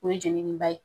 O ye jenini ba ye